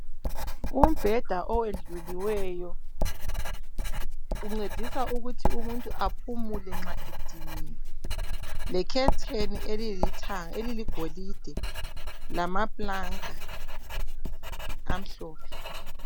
Umbheda owendluliweyo uncedisa ukuthi umuntu aphumule nxa ediniwe . Le khetheni elilithanga eliligolide lamapulanka amhlophe .